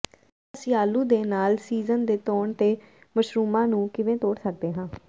ਹੁਣ ਅਸੀਂ ਆਲੂ ਦੇ ਨਾਲ ਸੀਜ਼ਨ ਦੇ ਤੌਣ ਦੇ ਮਸ਼ਰੂਮਿਆਂ ਨੂੰ ਕਿਵੇਂ ਤੋੜ ਸਕਦੇ ਹਾਂ